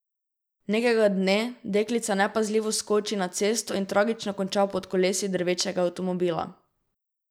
Nekega dne deklica nepazljivo skoči na cesto in tragično konča pod kolesi drvečega avtomobila.